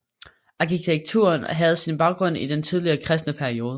Arkitekturen havde sin baggrund i den tidlige kristne periode